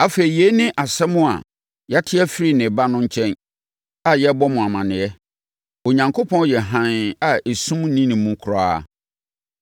Afei, yei ne asɛm a yɛate afiri ne Ba no nkyɛn a yɛrebɔ mo amaneɛ. Onyankopɔn yɛ hann a esum nni ne mu koraa.